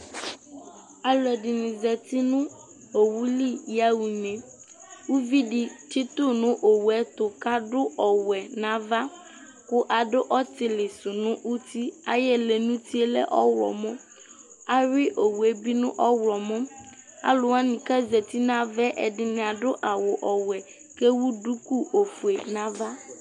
alʋɛdini zati nʋ ɔwʋli ya ʋnɛ ʋvidi tsitʋ nʋ ɔwʋɛ ɛtʋ kʋ adʋ ɔwɛ nʋ aɣa kʋ adʋ ɔtili sʋ nʋ ʋti, ayi ɛlɛ nʋ ʋtiɛ lɛ ɔwlɔmɔ, awi ɔwʋɛ bi nʋ ɔwlɔmɔ, alʋ wani kʋ azati nʋ aɣaɛ ɛdini adʋ awʋ ɔwɛ kʋ ɛwʋ dʋkʋ ɔƒʋɛ nʋ aɣa